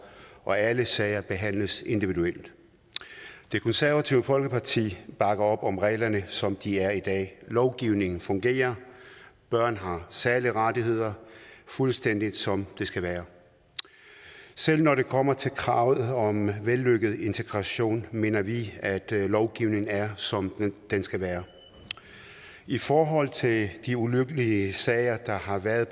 og alle sager behandles individuelt det konservative folkeparti bakker op om reglerne som de er i dag lovgivningen fungerer børn har særlige rettigheder fuldstændig som det skal være selv når det kommer til kravet om vellykket integration mener vi at lovgivningen er som den skal være i forhold til de ulykkelige sager der har været